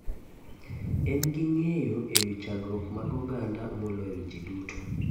En gi ngeyo e wi chandruok mag oganda moloyo ji duto.